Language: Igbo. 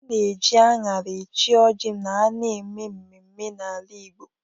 A na-eji aṅara eche ọjị ma a na-eme mmemme n'ala Igbo.